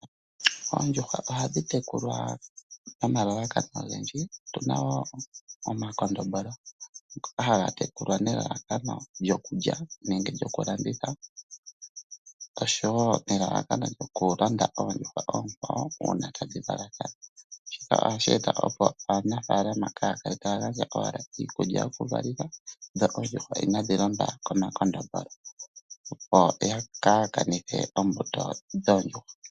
Oondjuhwa ohadhi tekulwa nomalalakano ogendji otuna wo omakondombolo ngoka haga tekulwa nelalakano lyokulya nenge lyokulanditha oshowo nelalakano lyokulanda oondjuhwa oonkwawo uuna tadhi valathana. Shika ohashi eta opo aanafaalama kaa ya kale taya gandja owala iikulya yokuvalitha dho oondjuhwa inaadhi londwa komakondombolo opo kaa yakanithe ombuto dhoondjuhwa.